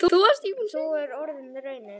Sú er orðin raunin.